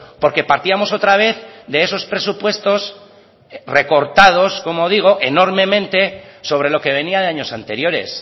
porque partíamos otra vez de esos presupuestos recortados como digo enormemente sobre lo que venía de años anteriores